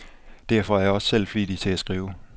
Derfor er jeg også selv flittig til at skrive.